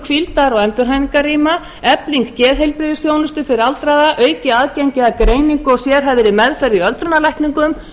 hvíldar og endurhæfingarrýma efling geðheilbrigðisþjónustu fyrir aldraða aukið aðgengi að greiningu og sérhæfðri meðferð í öldrunarlækningum